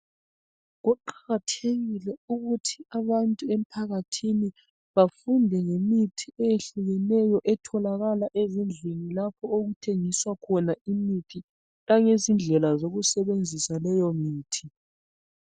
kuqakathekile ukuthi abantu emphakathini bafunde ngemithi ehlukeneyo etholakala ezindlini lapho okuthengiswa khona imithi langezindlela zokusebenzisa leyo mithi.